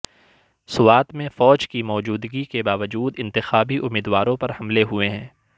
سوات میں فوج کی موجودگی کے باوجود انتخابی امیدواروں پر حملے ہوئے ہیں